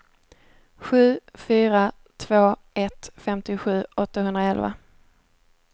sju fyra två ett femtiosju åttahundraelva